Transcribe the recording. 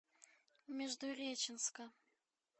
междуреченска